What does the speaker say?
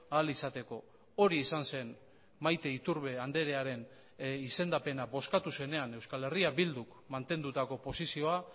ahal izateko hori izan zen maite iturbe andrearen izendapena bozkatu zenean euskal herria bilduk mantendutako posizioa